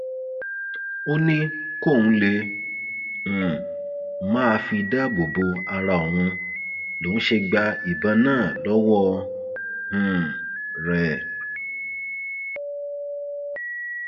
ó ní kóun lè um máa fi dáàbò bo ara òun lòún ṣe gba ìbọn náà lọwọ um rẹ